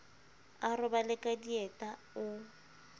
a robale ka dieta o